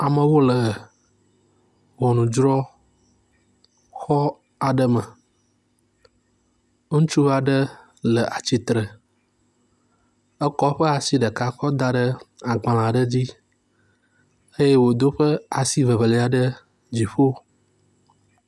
Amewo le ŋɔnudrɔxɔ aɖe me. Ŋutsu aɖe le atsitre, ekɔ eƒe asi ɖeka kɔ da ɖe agbalẽ aɖe dzi eye wodo eƒe asi evelia ɖe dziƒo.